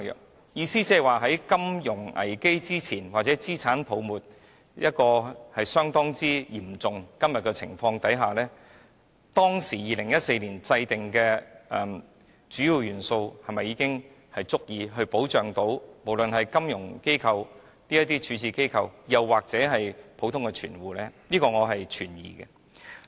我的意思是，在金融危機出現之前或在今天資產泡沫相當嚴重的情況之下 ，2014 年制訂的主要元素是否已經足以保障金融機構或普通的存戶呢？